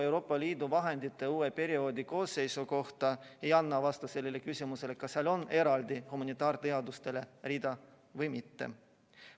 Euroopa Liidu vahendite uue perioodi koosseisu kohta ei anna vastust sellele küsimusele, kas seal on eraldi rida humanitaarteadustele või mitte.